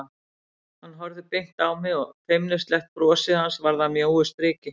Hann horfði beint á mig og feimnislega brosið hans varð að mjóu striki.